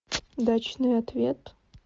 дачный ответ